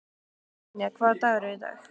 Hrafnynja, hvaða dagur er í dag?